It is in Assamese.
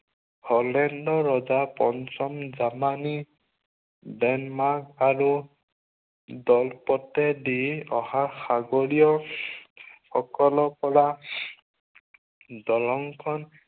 হলেণ্ডৰ ৰজা পঞ্চম জামানী ডেনমাৰ্ক আৰু জলপথেদি অহা সাগৰীয় সকলোপৰা দলংখন